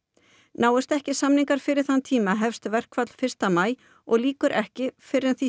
náist ekki samningar fyrir þann tíma hefst verkfall fyrsta maí og lýkur ekki fyrr en því